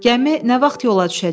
Gəmi nə vaxt yola düşəcək?